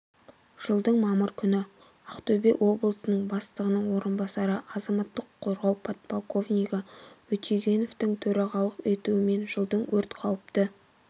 жылдың мамыр күні ақтөбе облысының бастығының орынбасары азаматтық қорғау полковнигі өтегеновтің төрағалық етуімен жылдың өрт қауіпті